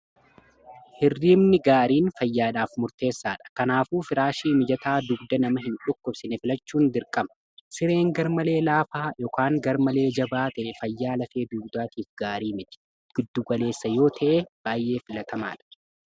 hirrimni gaariin fayyaadhaaf murteessaadha kanaafuuf iraashii mijataa dugda nama hin dhukkubsine filachuun dirqama sireen garmalee laafaa yn garmalee jabaa ta'e fayyaa lafee dugdaatiif gaarii miti giddugaleessa yoo ta'e baay'ee filatamaa dha